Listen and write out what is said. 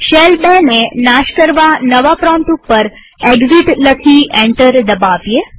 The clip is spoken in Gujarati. શેલ ૨ ને નાશ કરવા નવા પ્રોમ્પ્ટ ઉપર એક્સિટ લખી એન્ટર દબાવીએ